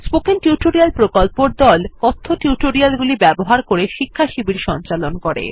spoken tutorial প্রকল্পর দল কথ্য টিউটোরিয়াল গুলি ব্যবহার করে শিক্ষাশিবির সঞ্চালন করে